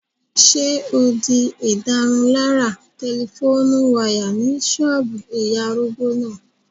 Ṣé o di ìdárunlárà tẹlifóònù wáyà ní ṣọ́ọ̀bù ìyá arúgbó náà?